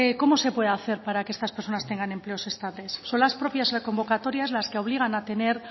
cómo se puede hacer para que estas personas tengan empleos estables son las propias convocatorias las que obligan a tener